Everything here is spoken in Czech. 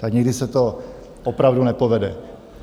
Tak někdy se to opravdu nepovede.